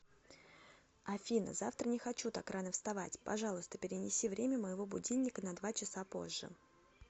афина завтра не хочу так рано вставать пожалуйста перенеси время моего будильника на два часа позже